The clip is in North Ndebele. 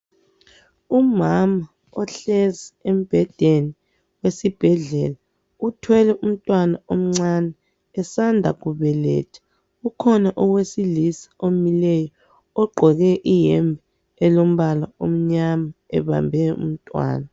Umama ohlezi embhedeni esibhedlela uthwele umntwana omncane usanda ukubeletha kukhona owesilisa omileyo ogqoke iyembe elombala omnyama ebambe umntwana.